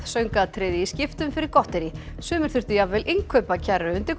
söngatriði í skiptum fyrir gotterí sumir þurftu jafnvel innkaupakerru undir